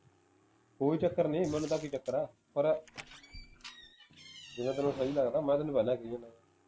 ਕੋਈ ਚੱਕਰ ਨਹੀਂ ਮੈਨੂੰ ਤਾ ਕਿ ਚੱਕਰ ਹੈ ਪਰ ਜਿਵੇਂ ਤੈਨੂੰ ਸਹੀ ਲੱਗਦਾ ਮੈਂ ਤੈਨੂੰ ਪਹਿਲਾਂ ਕਹੀ ਜਾਂਦਾ